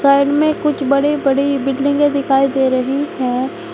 Side में कुछ बड़ी बड़ी बिल्डिंगे दिखाई दे रही है।